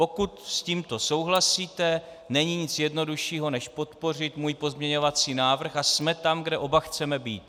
Pokud s tímto souhlasíte, není nic jednoduššího než podpořit můj pozměňovací návrh, a jsme tam, kde oba chceme být.